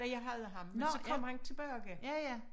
Da jeg havde ham men så kom han tilbage